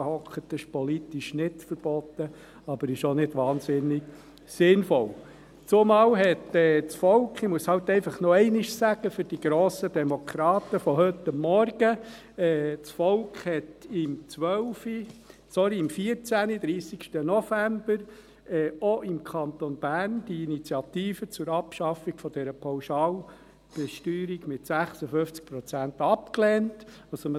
Das ist politisch nicht verboten, aber es ist auch nicht wahnsinnig sinnvoll, zumal das Volk – das muss ich den grossen Demokraten von heute Morgen noch einmal sagen – am 30. November 2014 auch im Kanton Bern die Initiative zur «Abschaffung der Pauschalbesteuerung» mit 56 Prozent abgelehnt hat.